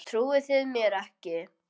Trúið þið mér ekki?